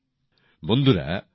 ধন্যবাদ